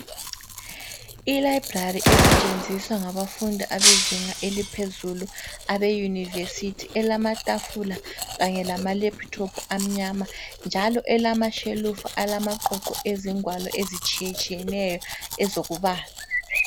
Ilibrary esetshenziswa ngabafundi abezinga eliphezulu abe university elamatafula kanye lama laptop amnyama njalo elamashelufu alamaqoqo ezingwalo ezitshiyatshiyeneyo ezokubala.